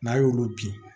N'a y'olu bin